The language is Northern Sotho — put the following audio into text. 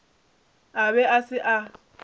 a be a se a